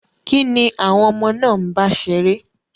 Kín ni àwọn ọmọ náà ń bá ṣeré?